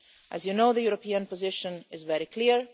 As you know, the European position is very clear.